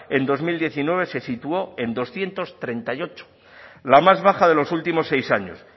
en dos mil diecinueve se situó en doscientos treinta y ocho la más baja de los últimos seis años